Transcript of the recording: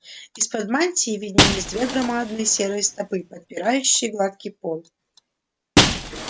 из-под мантии виднелись две громадные серые стопы подпирающие гладкий пол